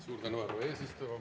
Suur tänu, härra eesistuja!